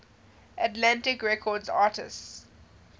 atlantic records artists